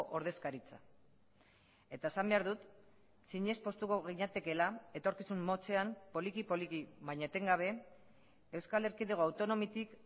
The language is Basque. ordezkaritza eta esan behar dut zinez poztuko ginatekeela etorkizun motzean poliki poliki baina etengabe euskal erkidego autonomitik